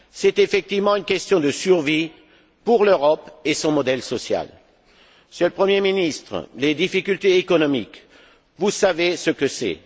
C'est effectivement une question de survie pour l'Europe et son modèle social. Monsieur le Premier ministre, les difficultés économiques, vous savez ce que c'est.